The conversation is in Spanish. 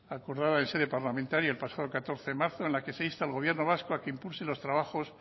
acordada en sede parlamentaria el pasado catorce de marzo en la que se insta al gobierno vasco a que impulse los trabajos